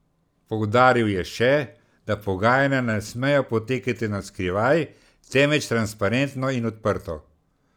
Poudaril je še, da pogajanja ne smejo potekati na skrivaj, temveč transparentno in odprto.